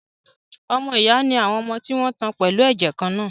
Ọmọ ìyá ni àwọn ọmọ tí wọn tan pẹ̀lú ẹ̀jẹ̀ kan-náà